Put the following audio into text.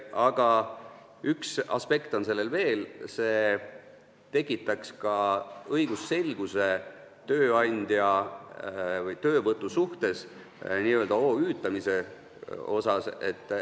Aga üks aspekt on sellel veel: see tekitaks õigusselguse töövõtusuhtes n-ö OÜ-tamise mõttes.